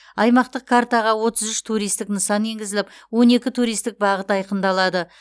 аймақтық картаға отыз үш туристік нысан енгізіліп он екі туристік бағыт айқындалады